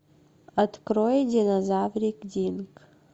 открой динозаврик динк